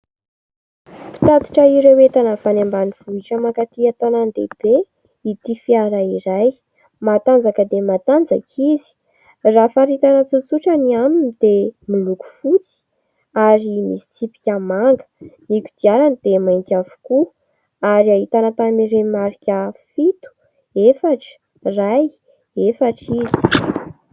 Mpitatitra ireo entana avy any ambanivohitra mankaty an-tanan-dehibe ity fiara iray : matanjaka dia matanjaka izy raha faritana tsotsotra ny aminy dia miloko fotsy ary misy tsipika manga, ny kodiarany dia mainty avokoa ary ahitana tarehimarika fito, efatra, ray, efatra izy.